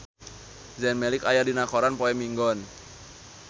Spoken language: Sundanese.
Zayn Malik aya dina koran poe Minggon